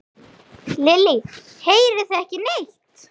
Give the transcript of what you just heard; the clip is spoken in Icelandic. Lillý: Heyrið þið ekki neitt?